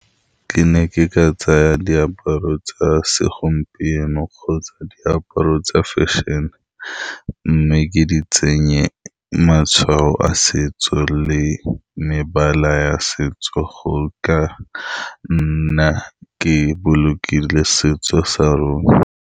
Ke ne ke ka tsaya diaparo tsa segompieno kgotsa diaparo tsa fashion-e, mme ke di tsenye matshwao a setso le mebala ya setso. Go ka nna ke bolokile setso sa rona